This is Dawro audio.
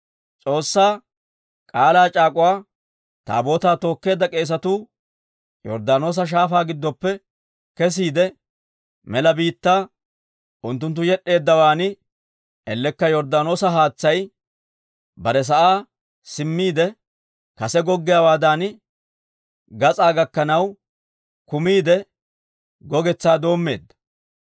S'oossaa K'aalaa c'aak'uwa Taabootaa tookkeedda k'eesatuu Yorddaanoosa Shaafaa giddoppe kesiide mela biittaa unttunttu yed'd'eeddawaan, ellekka Yorddaanoosa haatsay bare sa'aa simmiide kase goggiyaawaadan gas'aa gakkanaw kumiidde, gogetsaa doommeedda.